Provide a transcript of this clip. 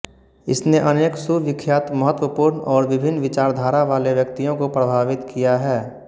इसने अनेक सुविख्यात महत्वपूर्ण और विभिन्न विचारधारावाले व्यक्तियों को प्रभावित किया है